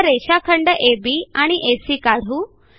आता रेषाखंड अब आणि एसी काढू